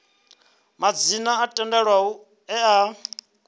madzina o tendelwaho e a